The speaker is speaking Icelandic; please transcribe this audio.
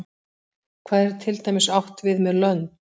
Hvað er til dæmis átt við með lönd?